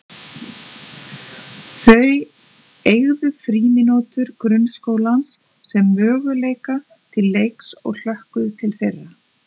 Þau eygðu frímínútur grunnskólans sem möguleika til leiks og hlökkuðu til þeirra.